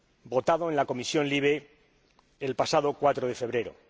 votado en la Comisión LIBE el pasado 4 de febrero.